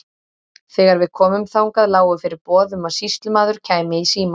Þegar við komum þangað lágu fyrir boð um að sýslumaður kæmi í símann.